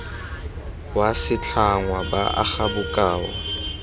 wa setlhangwa ba aga bokao